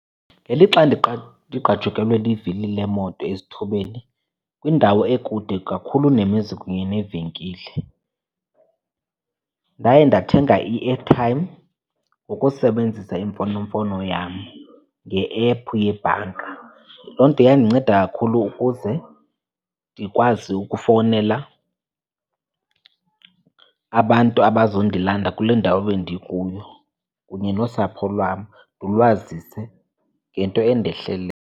Ngelixa ndigqajukelwe livili lemoto esithubeni kwindawo ekude kakhulu nemizi kunye neevenkile ndaye ndathenga i-airtime ngokusebenzisa imfonomfono yam, nge-app yebhanka. Loo nto yandinceda kakhulu ukuze ndikwazi ukufowunela abantu abazondilanda kule ndawo bendikuyo kunye nosapho lwam ndilwazise ngento endehleleyo.